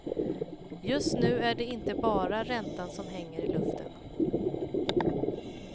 Just nu är det inte bara räntan som hänger i luften.